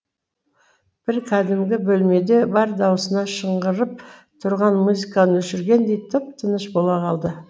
бір кәдімгі бөлмеде бар даусында шыңғырып тұрған музыканы өшіргендей тып тыныш бола қалды